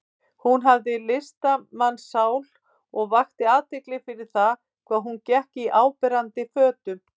Hún hafði listamannssál og vakti athygli fyrir það hvað hún gekk í áberandi fötum.